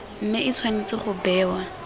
mme e tshwanetse go bewa